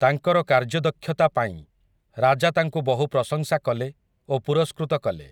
ତାଙ୍କର କାର୍ଯ୍ୟଦକ୍ଷତା ପାଇଁ, ରାଜା ତାଙ୍କୁ ବହୁ ପ୍ରଶଂସା କଲେ, ଓ ପୁରସ୍କୃତ କଲେ ।